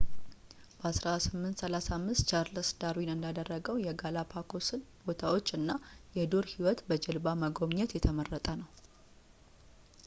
በ1835 ቻርልስ ዳርዊን እንዳደረገው የጋላፓጎስን ቦታዎች እና የዱር ህይወት በጀልባ መጎብኘት የተመረጠ ነው